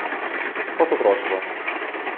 Kot otroštvo.